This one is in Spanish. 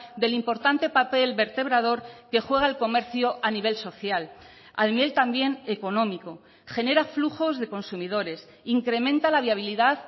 del importante papel vertebrador que juega el comercio a nivel social a nivel también económico genera flujos de consumidores incrementa la viabilidad